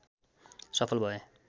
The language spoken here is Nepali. सफल भए